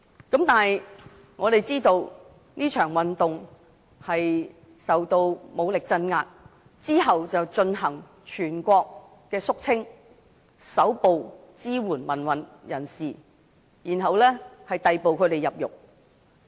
但是，我們知道這場運動受到武力鎮壓，之後還進行全國肅清，搜捕支援民運的人士，逮捕他們入獄。